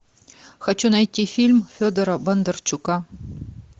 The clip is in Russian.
хочу найти фильм федора бондарчука